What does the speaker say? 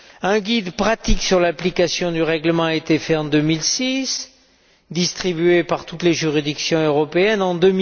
Un guide pratique sur l'application du règlement a été fait en 2006 et distribué par toutes les juridictions européennes en